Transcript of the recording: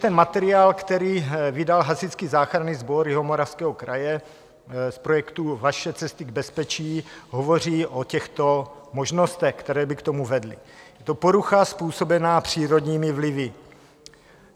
Ten materiál, který vydal Hasičský záchranný sbor Jihomoravského kraje z projektu Vaše cesty k bezpečí, hovoří o těchto možnostech, které by k tomu vedly: Je to porucha způsobená přírodními vlivy.